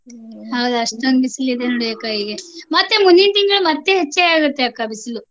ಹೌದ್ ಅಷ್ಟೋಂದ್ ಬಿಸಿಲಿದೆ ನೋಡಿ ಅಕ್ಕ ಈಗೆ. ಮತ್ತೆ ಮುಂದಿನ್ ತಿಂಗ್ಳು ಮತ್ತೆ ಹೆಚ್ಗೆ ಆಗ್ತೇತ್ತೆ ಅಕ್ಕ ಬಿಸ್ಲು.